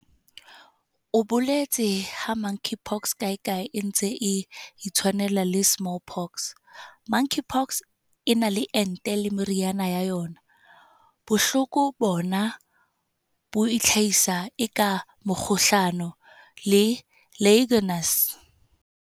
O boletse ha Monkeypox kae kae e ntse e itshwanela le Smallpox."Monkeypox e na le ente le meriana ya yona. Bohloko bona bo itlhahisa eka mokgohlane le Legionnaires."